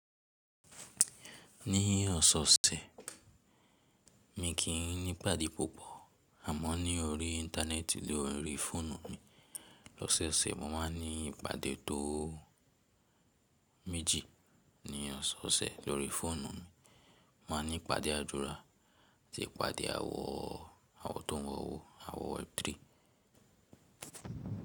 Ní ọ̀sọ̀ọ̀sẹ̀ mi kì í ní ìpàdé púpọ̀ àmọ́ ní orí Íńtánẹ́ẹ̀tì ló rí fóònù mi. Lọ́sẹ̀ẹ̀sẹ̀ mo ma ní ìpàdé tó méjì. Ní ọ̀sọ̀ọ̀sẹ̀ lóri fóònù mi, mà a ní ìpàdé àdúrà àti ìpàdé àwọ àwọ̀ tó ń wọ̀wọ̀, àwọ̀ web3.